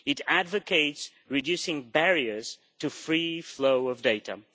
It advocates reducing barriers to the free flow of data.